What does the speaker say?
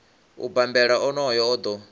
u bambela onoyo o ḓo